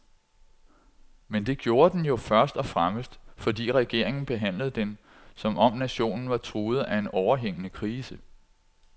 Men det gjorde den jo først og fremmest, fordi regeringen behandlede den, som om nationen var truet af en overhængende krise.